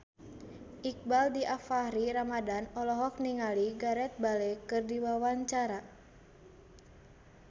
Iqbaal Dhiafakhri Ramadhan olohok ningali Gareth Bale keur diwawancara